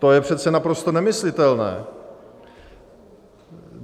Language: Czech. To je přece naprosto nemyslitelné.